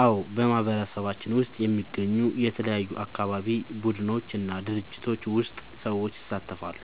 አዎ፣ በማህበረሰባችን ውስጥ የሚገኙ የተለያዩ አካባቢ ቡድኖች እና ድርጅቶች ውስጥ ሰዎች ይሳተፋሉ።